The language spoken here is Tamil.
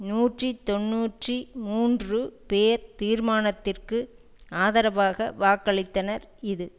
நூற்றி தொன்னூற்றி மூன்று பேர் தீர்மானத்திற்கு ஆதரவாக வாக்களித்தனர் இது